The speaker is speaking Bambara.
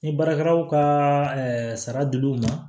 Ni baarakɛlaw ka sara dil'u ma